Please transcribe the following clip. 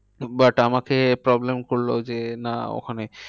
But আমাকে problem করলো যে না ওখানে